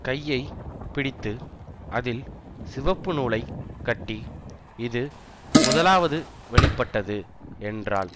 கையை பிடித்து அதில் சிவப்புநூலைக் கட்டி இது முதலாவது வெளி பட்டது என்றாள்